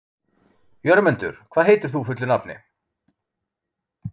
Jörmundur, hvað heitir þú fullu nafni?